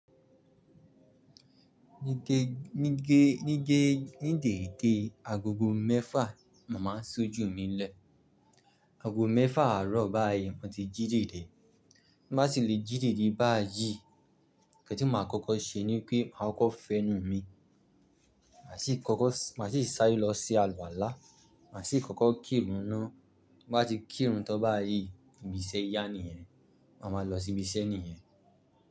Ní ge ní gé, ní gé, nídẹ̀de agogo mẹ́fà, màá sojú mi lẹ̀. Ago mẹ́fà àárọ̀ báyìí mo ti jíjìde. Bí màá ti le jíjìde báyìí, ǹkan tí màá kọ́kọ́ ṣe ni pé màá kọ́ fẹnu mi. Màá sì kọ́kọ́, màá sì sáré lọ sí àlùwala Màá sì kọ́kọ́ kíìrùn ná. Bí màá ti kíìrùn tan báyìí, ibi iṣẹ́ ìyá nìyẹn. Màá ma lọ sí ibi iṣẹ́ nìyẹn.